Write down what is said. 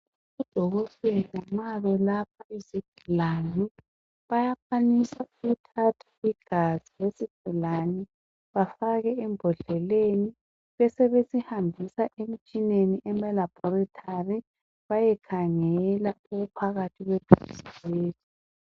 Odokotela nxa belapha izigulane ,bayakhwanisa ukuthatha igazi lesigulane. Bafake ebhodleleni ,besebesihambisa emtshineni emalabhoritari bayekhangela okuphakathi kwegazi leli.